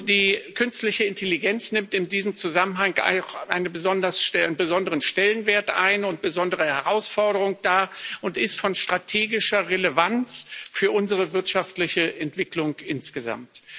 Die künstliche Intelligenz nimmt in diesem Zusammenhang einen besonderen Stellenwert ein und stellt eine besondere Herausforderung dar und ist von strategischer Relevanz für unsere wirtschaftliche Entwicklung insgesamt.